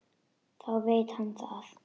Þá veit hann það!